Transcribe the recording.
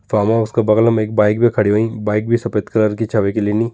Farm house का बगलम एक बाइक भी खड़ी होईं बाइक भी सफ़ेद कलर की छा वैकि लिनी।